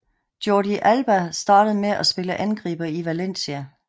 Jordi Alba startede med at spille angriber i Valencia